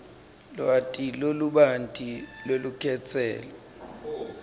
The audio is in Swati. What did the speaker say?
lwati lolubanti lwelukhetselo